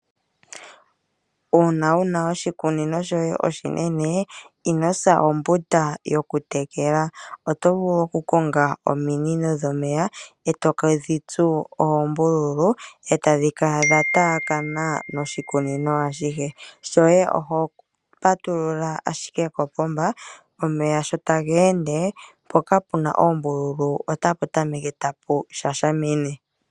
Aanamapya unene tuu mboka yena iikunino iinene ohaya vulu okulongitha ominino opo ya tekele iimeno yawo. Ohashi ningwa momukalo moka ngele omuntu a landa omunino etegu tsu oombululu etadhi kala dha taakana noshikunino ashihe, ngele omeya gapatululwa mpoka puna oombululu ohapu kala tapu shashimina.